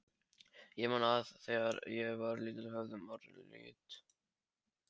Ég man að þegar ég var lítill höfðu orðin lit.